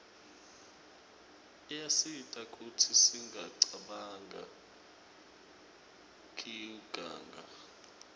iyasita kutsi singacabanq kiuganga